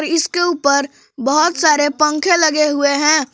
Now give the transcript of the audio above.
इसके ऊपर बहोत सारे पंखे लगे हुए हैं।